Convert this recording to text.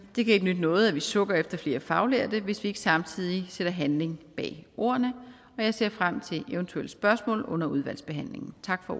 ikke nytte noget at vi sukker efter flere faglærte hvis vi ikke samtidig sætter handling bag ordene jeg ser frem til eventuelle spørgsmål under udvalgsbehandlingen tak for